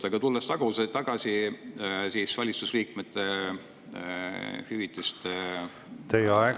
Aga tulen tagasi valitsuse liikmete läbipaistvamaks muutmise juurde.